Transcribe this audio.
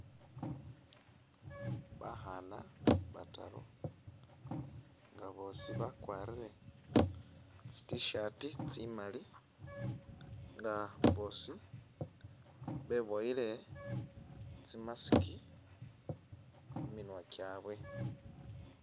Bakhana bataru nga boosi bakwarile tsi t-shirt tsimaali nga boosi beboyile tsi'mask khuminywa kyabwe